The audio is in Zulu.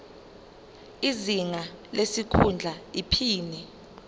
izinga lesikhundla iphini